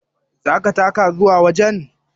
Zaka taka zuwa wajen?